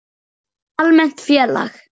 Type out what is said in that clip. Almennt félag